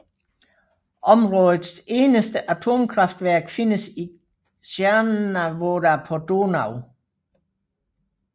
Områdets eneste atomkraftværk findes i Cernavodă på Donau